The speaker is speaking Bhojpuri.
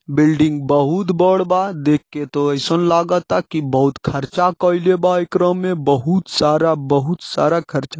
बिल्डिंग बहुत बड़ बा देखके तो ऐसन लागता की बहुत खर्चा कईले बा एकरा मे बहुत सारा बहुत सारा खर्चा--